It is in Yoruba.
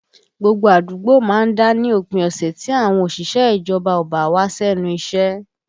Gbogbo àdúgbò má ń dá ní òpin ọ̀sẹ̀ tí àwọn òṣìṣẹ́ ìjọba ò bá wá sẹ́nu iṣẹ́